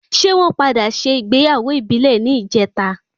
Ṣé wọn padà sé ìgbéyàwó ìbílẹ̀ ní ìjeta?